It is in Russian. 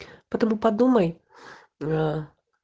потому подумай аа